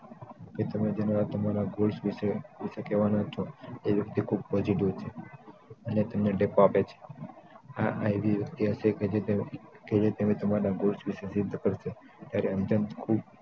કે જેને તમારા goals વિશે કહેવાના છો તે વયક્તિ ખૂબ positive છે અને તમને ટેકો આપે છે આ એવી વ્યક્તિ હશે કે જે તમે તમારા goals વિશે સિધ્ધ કરશો અને random ખૂબ